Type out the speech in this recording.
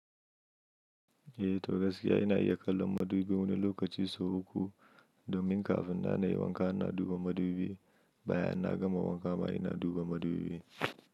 Eh to gaskiya ina iya kallon madubi wani lokaci sau uku domin kafin ma na yi wanka ina duba madubi, bayan na gama wanka ma ina duba madubi.